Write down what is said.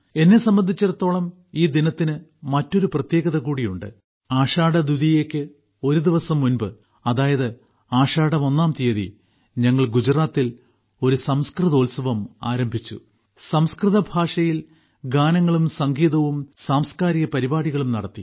എന്നെ സംബന്ധിച്ചിടത്തോളം ഈ ദിനത്തിനു മറ്റൊരു പ്രത്യേകത കൂടിയുണ്ട് ആഷാഢദ്വിതീയയ്ക്ക് ഒരുദിവസം മുമ്പ് അതായത് ആഷാഢം ഒന്നാം തീയതി ഞങ്ങൾ ഗുജറാത്തിൽ ഒരു സംസ്കൃതോത്സവം ആരംഭിച്ചു സംസ്കൃത ഭാഷയിൽ ഗാനങ്ങളും സംഗീതവും സാംസ്കാരിക പരിപാടികളും നടത്തി